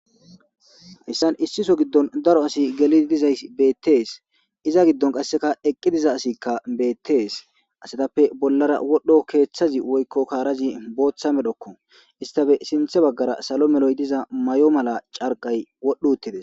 Heyssan issi soho giddon daro asi gelidi dizayssi beeththees; iza giddonkka qassi eqqi diza asikka beeththes; asathappe bollara wodhdho keeththazi woykko kaarazi booththa medhokkoo; isththape sinththa baggara salo meroy diza mayo mala carqqay wodhdhuuththi des.